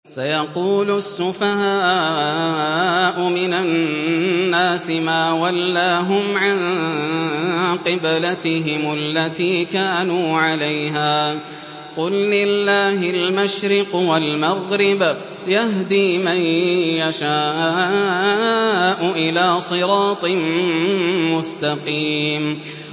۞ سَيَقُولُ السُّفَهَاءُ مِنَ النَّاسِ مَا وَلَّاهُمْ عَن قِبْلَتِهِمُ الَّتِي كَانُوا عَلَيْهَا ۚ قُل لِّلَّهِ الْمَشْرِقُ وَالْمَغْرِبُ ۚ يَهْدِي مَن يَشَاءُ إِلَىٰ صِرَاطٍ مُّسْتَقِيمٍ